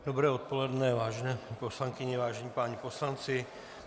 Dobré odpoledne, vážené poslankyně, vážení páni poslanci.